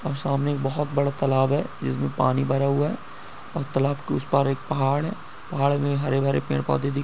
और सामने बहुत बड़ा तालाब है जिसमें पानी भरा हुआ है। और तालाब के उस पार एक पहाड़ है। पहाड़ में हरे- भरे पेड़- पौधे दिख--